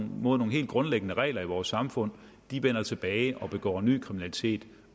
mod nogle helt grundlæggende regler i vores samfund vender tilbage og begår ny kriminalitet